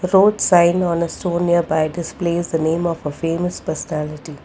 road sign on a stone nearby displays the name of a famous personality.